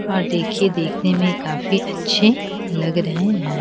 और देखिए देखने में काफी अच्छे लग रहे हैं।